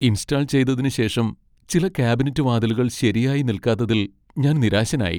Install ചെയ്തതിന് ശേഷം ചില കാബിനറ്റ് വാതിലുകൾ ശരിയായി നിൽക്കാത്തത്തിൽ ഞാൻ നിരാശനായി.